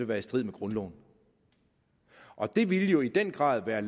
være i strid med grundloven og det ville jo i den grad være